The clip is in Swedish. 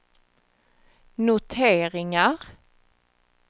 noteringar